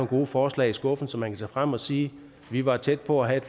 gode forslag i skuffen som man kan tage frem og sige vi var tæt på at have